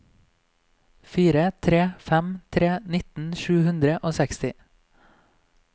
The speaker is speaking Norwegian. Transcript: fire tre fem tre nitten sju hundre og seksti